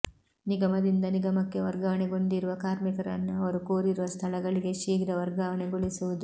ನಿಗಮದಿಂದ ನಿಗಮಕ್ಕೆ ವರ್ಗಾವಣೆಗೊಂಡಿರುವ ಕಾರ್ಮಿಕರನ್ನು ಅವರು ಕೋರಿರುವ ಸ್ಥಳಗಳಿಗೆ ಶೀಘ್ರ ವರ್ಗಾವಣೆಗೊಳಿಸುವುದು